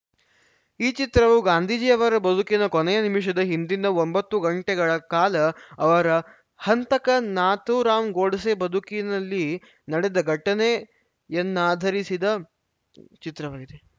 ಈ ಚಿತ್ರವು ಗಾಂಧೀಜಿಯವರ ಬದುಕಿನ ಕೊನೆಯ ನಿಮಿಷದ ಹಿಂದಿನ ಒಂಬತ್ತು ಗಂಟೆಗಳ ಕಾಲ ಅವರ ಹಂತಕ ನಾಥೂರಾಮ ಗೋಡ್ಸೆ ಬದುಕಿನಲ್ಲಿ ನಡೆದ ಘಟನೆಯನ್ನಾಧರಿಸಿದ ಚಿತ್ರವಾಗಿದೆ